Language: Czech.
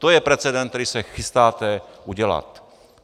To je precedent, který se chystáte udělat.